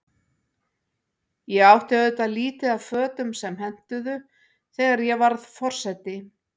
Ég átti auðvitað lítið af fötum sem hentuðu, þegar ég varð forseti.